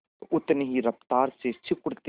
तो उतनी ही रफ्तार से सिकुड़ती है